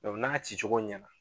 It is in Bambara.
Dɔnku n'a cicogo ɲɛna